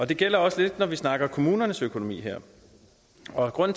det gælder også lidt når vi snakker kommunernes økonomi og det